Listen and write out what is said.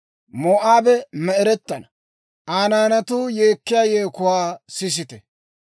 Moo'aabe me"erettana; Aa naanatuu yeekkiyaa yeekuwaa sisite!